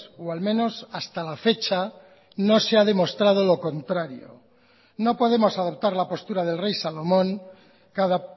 o al menos hasta la fecha no se ha demostrado lo contrario no podemos adoptar la postura del rey salomón cada